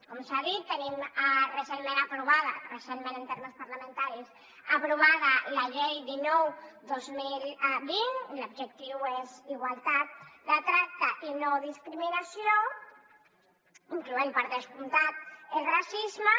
com s’ha dit tenim recentment aprovada recentment en termes parlamentaris la llei dinou dos mil vint i l’objectiu és igualtat de tracte i no discriminació incloent hi per descomptat el racisme